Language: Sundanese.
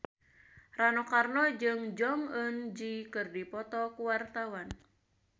Rano Karno jeung Jong Eun Ji keur dipoto ku wartawan